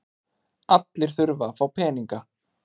Allir þurfa að fá peninga.